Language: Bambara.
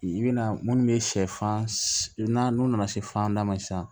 I bɛna munnu bɛ sɛfan bɛna n'u nana se fanda ma sisan